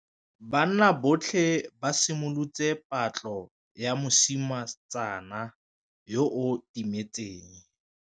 Banna botlhê ba simolotse patlô ya mosetsana yo o timetseng.